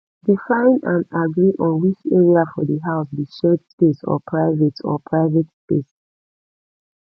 define and agree on which area for di house be shared space or private or private space